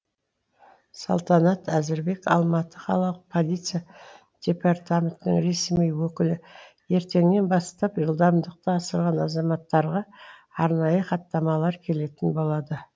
салтанат әзірбек алматы қалалық полиция департаментінің ресми өкілі ертеңнен бастап жылдамдықты асырған азаматтарға арнайы хаттамалар келетін болады